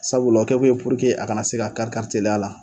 Sabula o kɛ kun ye a kana se ka kari kari teliya la